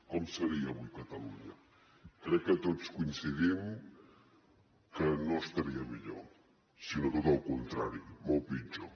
com seria avui catalunya crec que tots coincidim que no estaria millor sinó al contrari molt pitjor